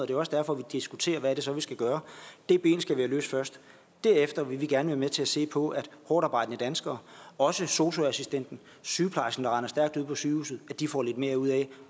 jo også derfor vi diskuterer hvad det så er vi skal gøre den ting skal vi have løst først derefter vil vi gerne være med til at se på at hårdtarbejdende danskere også sosu assistenten og sygeplejersken der render stærkt ude på sygehuset får lidt mere ud af